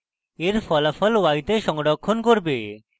এটি ফলাফল y তে সংরক্ষণ করবে